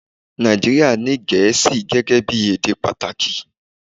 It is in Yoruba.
Nàìjíríà ní Gẹ̀ẹ́sì gẹ́gẹ́ bí èdè pàtàkì